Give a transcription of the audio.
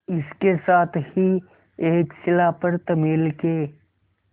इसके साथ ही एक शिला पर तमिल के